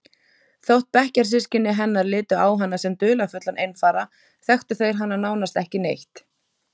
Þótt bekkjarsystkini hennar litu á hana sem dularfullan einfara þekktu þeir hana nánast ekki neitt.